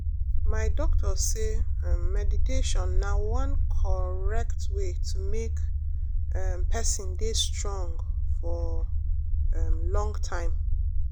my doctor say um meditation na one correct way to make um person dey strong for um long time.